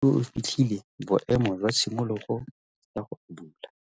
o fitlhile boêmô jwa tshimologô ya go abula.